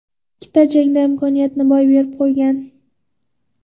Ikkita jangda imkoniyatni boy berib qo‘ygan.